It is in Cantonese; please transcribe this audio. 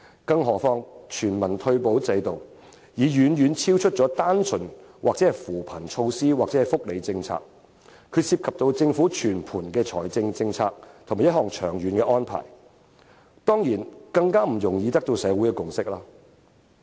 至於全民退休保障制度，它已非單純的扶貧措施或福利政策，是涉及政府整體財政政策的一項長遠安排，當然就更不易取得社會的共識了。